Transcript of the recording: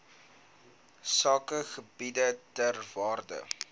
sakegebiede ter waarde